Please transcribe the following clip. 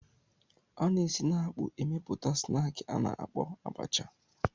A na-esi n'akpụ emepụta snaakị a na-akpọ abacha.